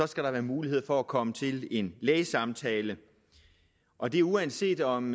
skal være mulighed for at komme til en lægesamtale og det uanset om